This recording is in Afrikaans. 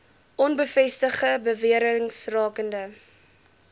onbevestigde bewerings rakende